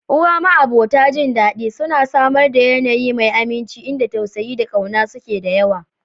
Uwa, ma'abota jin dadi, suna samar da yanayi mai aminci inda tausayi da ƙauna suke da yawa.